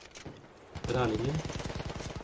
Rælingen